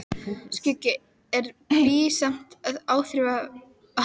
Skuggi, en bý samt í áþreifanlegum efnisheimi.